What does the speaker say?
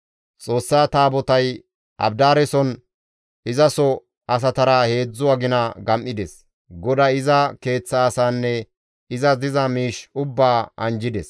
Xoossa Taabotay Abidaareson izaso asatara heedzdzu agina gam7ides; GODAY iza keeththa asaanne izas diza miish ubbaa anjjides.